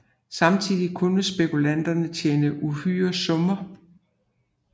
Samtidig kunne spekulanter tjene uhyre summer